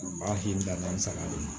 A b'a k'i ka nin saga de la